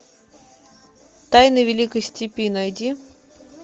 тайны великой степи найди